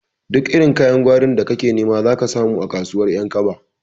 Duk irin kayan gwarin da kake nema zaka samu a kasuwar ƴankaba